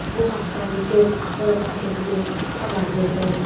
Bu haqda Reuters axborot agentligi xabar berdi .